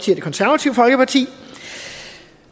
det konservative folkeparti